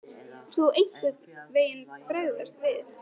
Elín Margrét Böðvarsdóttir: Mun þú einhvern veginn bregðast við?